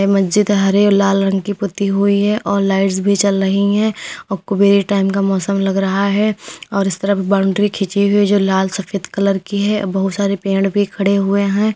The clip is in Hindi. ए मज्जीद है। हरे और लाल रंग की पुती हुई है और लाइट्स भी जल रही है और कुबेर टाइम का मौसम लग रहा है और इस तरफ बाउंड्री खीची हुई है जो लाल सफेद कलर की है अ बहुत सारे पेड़ भी खड़े हुए हैं।